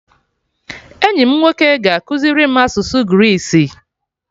Enyi m nwoke ga-ekuziri m asụsụ Greece